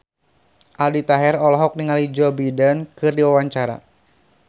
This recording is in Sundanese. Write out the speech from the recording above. Aldi Taher olohok ningali Joe Biden keur diwawancara